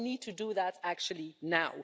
No, we need to do that, actually, now.